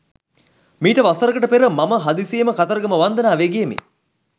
මීට වසරකට පෙර මම හදිසියේම කතරගම වන්දනාවේ ගියෙමි.